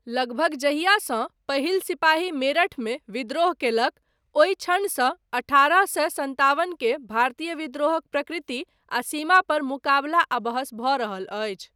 लगभग जहियासँ पहिल सिपाही मेरठमे विद्रोह कयलक, ओहि क्षणसँ अठारह सए सन्तावन के भारतीय विद्रोहक प्रकृति आ सीमा पर मुकाबला आ बहस भऽ रहल अछि।